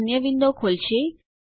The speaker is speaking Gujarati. તે અન્ય વિન્ડો ખોલશે